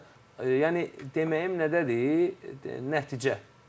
Yəni deməyim nədədir, nəticə.